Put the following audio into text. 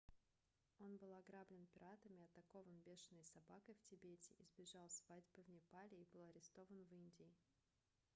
он был ограблен пиратами атакован бешеной собакой в тибете избежал свадьбы в непале и был арестован в индии